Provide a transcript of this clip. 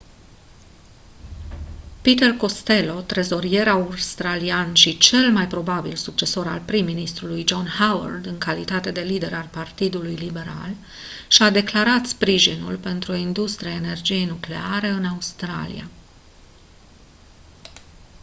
peter costello trezorier australian și cel mai probabil succesor al prim-ministrului john howard în calitate de lider al partidului liberal și-a declarat sprijinul pentru o industrie a energiei nucleare în australia